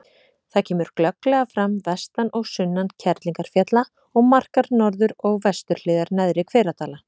Það kemur glögglega fram vestan og sunnan Kerlingarfjalla og markar norður- og vesturhliðar Neðri-Hveradala.